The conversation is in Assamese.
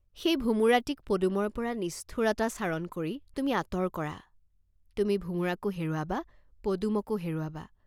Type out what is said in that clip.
সেই ভোমোৰাটিক পদুমৰ পৰা নিষ্ঠুৰতাচৰণ কৰি তুমি আঁতৰ কৰা, তুমি ভোমোৰাকো হেৰুৱাবাঁ, পদুমকো হেৰুৱাবাঁ।